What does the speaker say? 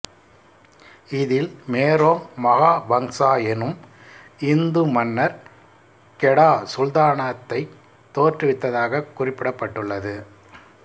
இதில் Merong Mahawangsa எனும் இந்து மன்னர் கெடா சுல்தானகத்தைத் தோற்றுவித்ததாகக் குறிப்பிடப் பட்டுள்ளது